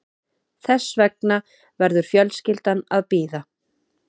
Þess vegna verður fjölskyldan að bíða